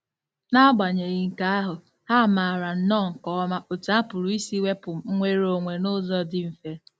N'agbanyeghị nke ahụ, ha maara nnọọ nke ọma otú a pụrụ isi wepụ nnwere onwe n'ụzọ dị mfe..